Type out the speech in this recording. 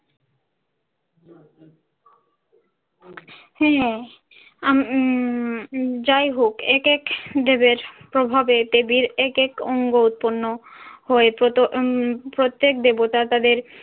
হ্যাঁ। আম উম উম যাই হোক এক এক দেবের প্রভাবে দেবীর এক এক অঙ্গ উৎপন্ন হয়ে প্রত~ উম প্রত্যেক দেবতা তাদের